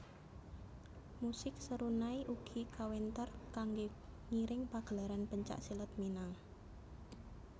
Musik serunai ugi kawéntar kanggé ngiring pagelaran pencak silat Minang